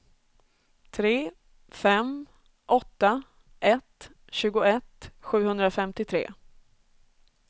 tre fem åtta ett tjugoett sjuhundrafemtiotre